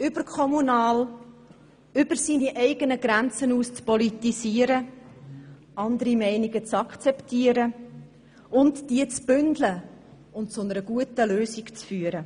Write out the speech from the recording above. und überkommunal über seine eigenen Grenzen hinaus zu politisieren, andere Meinungen zu akzeptieren, diese zu bündeln und zu einer guten Lösung zu führen.